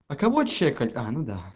а кого чекать а ну да